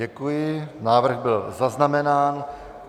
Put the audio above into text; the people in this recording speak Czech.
Děkuji, návrh byl zaznamenán.